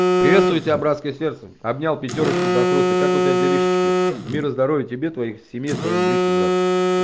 приветствую тебя братское сердце обнял пятёрочку да хруста как у тебя делишки мира здоровья тебе твоей семье твоим близким брат